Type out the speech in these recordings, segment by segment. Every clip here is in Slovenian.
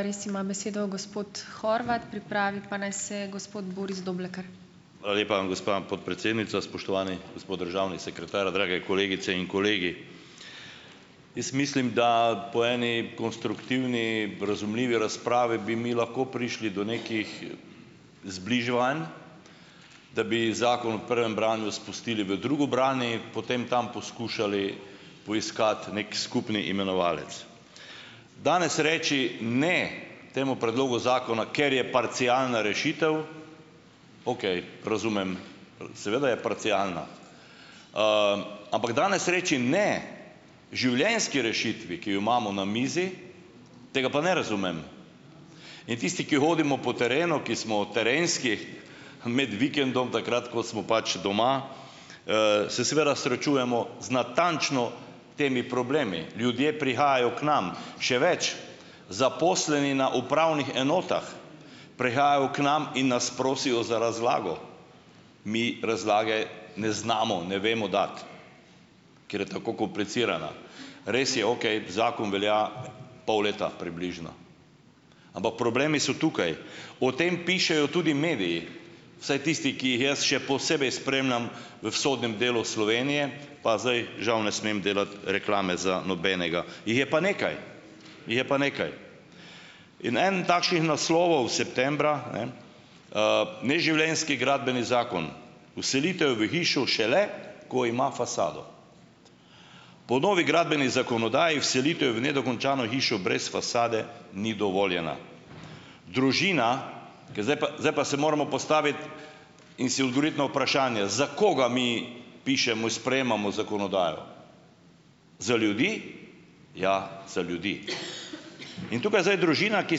Hvala lepa, gospa podpredsednica. Spoštovani gospod državni sekretar, drage kolegice in kolegi. Jaz mislim, da po eni konstruktivni razumljivi razpravi bi mi lahko prišli do nekih zbliževanj, da bi zakon v prvem branju spustili v drugo branje, potem tam poskušali poiskati nek skupni imenovalec. Danes reči ne temu predlogu zakona, ker je parcialna rešitev, okej, razumem, seveda je parcialna, ampak danes reči ne življenjski rešitvi, ki jo imamo na mizi, tega pa ne razumem. In tisti, ki hodimo po terenu, ki smo terenski med vikendom, takrat ko smo pač doma, se seveda srečujemo z natančno temi problemi. Ljudje prihajajo k nam, še več, zaposleni na upravnih enotah prehajajo k nam in nas prosijo za razlago. Mi razlage ne znamo, ne vemo dati, ker je tako komplicirana. Res je, okej, zakon velja pol leta približno, ampak problemi so tukaj, o tem pišejo tudi mediji, vsaj tisti, ki jih jaz še posebej spremljam v vzhodnem delu Slovenije, pa zdaj žal ne smem delati reklame za nobenega - jih je pa nekaj, jih je pa nekaj. In en takšnih naslovov septembra - en neživljenjski gradbeni zakon. Vselitev v hišo šele, ko ima fasado. Po novi gradbeni zakonodaji vselitev v nedokončano hišo brez fasade ni dovoljena. Družina - ker zdaj zdaj pa se moramo postaviti in si odgovoriti na vprašanje, za koga mi pišemo in sprejemamo zakonodajo? Za ljudi - ja, za ljudi. In tukaj zdaj družina, ki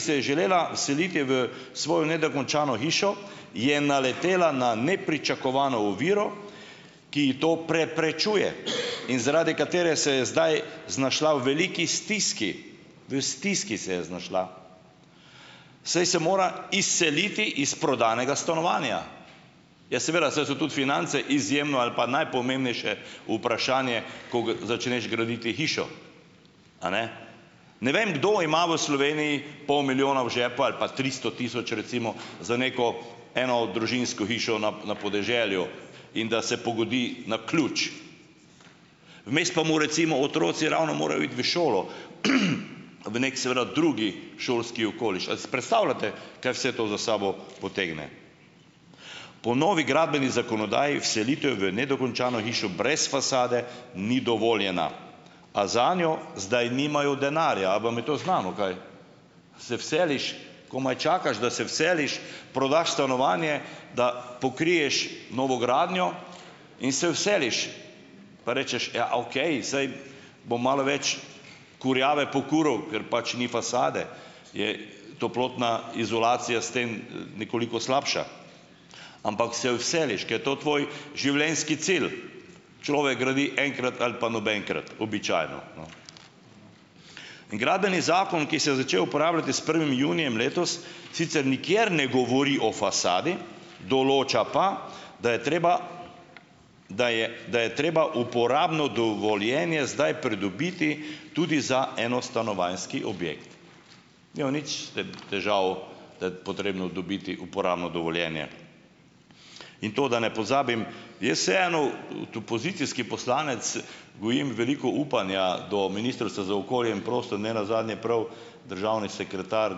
se je želela seliti v svojo nedokončano hišo, je naletela na nepričakovano oviro, ki ji to preprečuje in zaradi katere se je zdaj znašla v veliki stiski, v stiski se je znašla, saj se mora izseliti iz prodanega stanovanja. Ja seveda, saj so tudi finance izjemno ali pa najpomembnejše vprašanje, ko ga začneš graditi hišo, a ne? Ne vem, kdo ima v Sloveniji pol milijona v žepu ali pa tristo tisoč recimo za neko enodružinsko hišo na, na podeželju in da se pogodi na ključ, vmes pa mu recimo otroci ravno morajo iti v šolo, v nek seveda drugi šolski okoliš. Ali si predstavljate, kaj vse to za sabo potegne? Po novi gradbeni zakonodaji vselitev v nedokončano hišo brez fasade ni dovoljena. A zanjo zdaj nimajo denarja - a vam je to znano kaj? Se vseliš, komaj čakaš, da se vseliš, prodaš stanovanje, da pokriješ novogradnjo in se vseliš, pa rečeš: "Ja, okej, saj bom malo več kurjave pokuril, ker pač ni fasade. Je toplotna izolacija sten nekoliko slabša." Ampak se vseliš, ke je to tvoj življenjski cilj. Človek gradi enkrat ali pa "nobenkrat", običajno. In gradbeni zakon, ki se je začel uporabljati s prvim junijem letos sicer nikjer ne govori o fasadi, določa pa, da je treba da je, da je treba uporabno dovoljenje zdaj pridobiti tudi za enostanovanjski objekt. Nimam nič s tem težav, da je potrebno dobiti uporabno dovoljenje. In to, da ne pozabim, jaz vseeno, pozicijski poslanec, gojim veliko upanja do Ministrstva za okolje in prostor - ne nazadnje prav državni sekretar,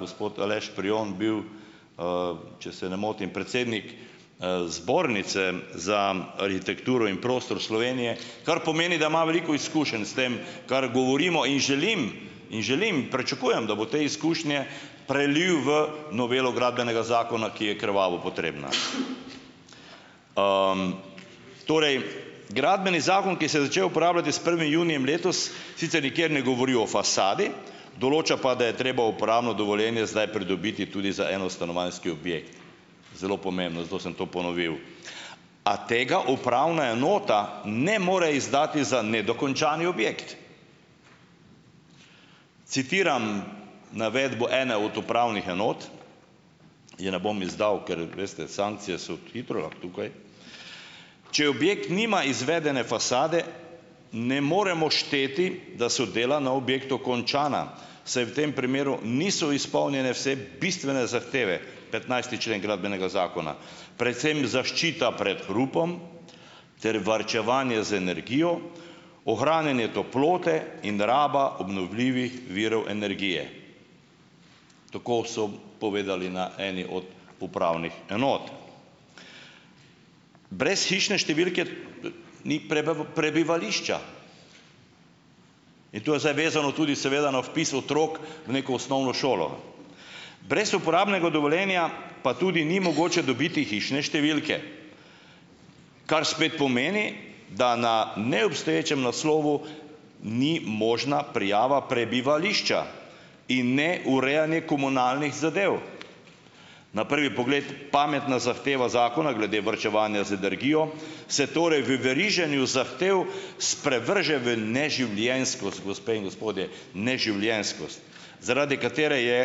gospod Aleš Prijon, bil, če se ne motim, predsednik Zbornice za arhitekturo in prostor Slovenije, kar pomeni, da ima veliko izkušenj s tem, kar govorimo, in želim, in želim, pričakujem, da bo te izkušnje prelil v novelo Gradbenega zakona, ki je krvavo potrebna. Torej, gradbeni zakon, ki se je začel uporabljati s prvim junijem letos sicer nikjer ne govori o fasadi, določa pa, da je treba uporabno dovoljenje zdaj pridobiti tudi za enostanovanjski objekt - zelo pomembno, zato sem to ponovil. A tega upravna enota ne more izdati za nedokončani objekt. Citiram navedbo ene od upravnih enot, je ne bom izdal, ker veste sankcije so hitro tukaj: "Če objekt nima izvedene fasade, ne moremo šteti, da so dela na objektu končana, saj v tem primeru niso izpolnjene vse bistvene zahteve, petnajsti člen gradbenega zakona. Predvsem zaščita pred hrupom ter varčevanje z energijo, ohranjanje toplote in raba obnovljivih virov energije." Tako so povedali na eni od upravnih enot. Brez hišne številke ni prebivališča in tu je zdaj vezano tudi seveda na vpis otrok v neko osnovno šolo. Brez uporabnega dovoljenja pa tudi ni mogoče dobiti hišne številke, kar spet pomeni, da na neobstoječem naslovu ni možna prijava prebivališča in ne urejanje komunalnih zadev. Na prvi pogled pametna zahteva zakona glede varčevanja z energijo, se torej v veriženju zahtev sprevrže v neživljenjskost, gospe in gospodje, neživljenjskost, zaradi katere je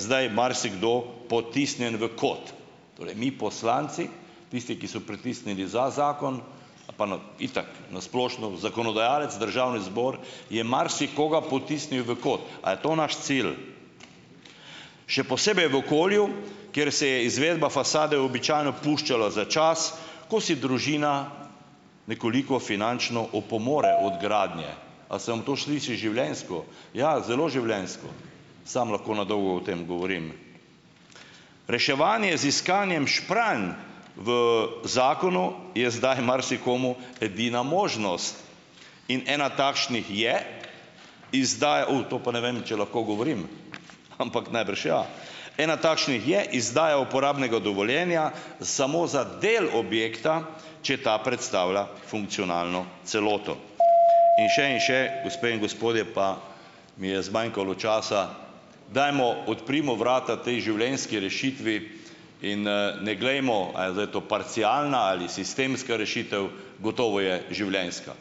zdaj marsikdo potisnjen v kot. Torej mi poslanci, tisti, ki so pritisnili za zakon, pa na, itak, na splošno, zakonodajalec, Državni zbor, je marsikoga potisnil v kot. A je to naš cilj? Še posebej v okolju, kjer se je izvedba fasade običajno puščalo za čas, ko si družina nekoliko finančno opomore od gradnje. A se vam to sliši življenjsko? Ja, zelo življenjsko. Samo lahko na dolgo o tem govorim. Reševanje z iskanjem špranj v zakonu je zdaj marsikomu edina možnost in ena takšnih je, izdaj - to pa ne vem, če lahko govorim, ampak najbrž ja - ena takšnih je izdaja uporabnega dovoljenja samo za del objekta, če ta predstavlja funkcionalno celoto. In še in še, gospe in gospodje, pa mi je zmanjkalo časa, dajmo, odprimo vrata tej življenjski rešitvi in ne glejmo, ali je zdaj to parcialna ali sistemska rešitev, gotovo je življenjska.